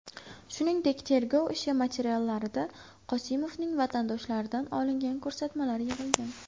Shuningdek, tergov ishi materiallarida Qosimovning vatandoshlaridan olingan ko‘rsatmalar yig‘ilgan.